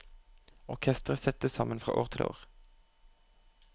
Orkestret settes sammen fra år til år.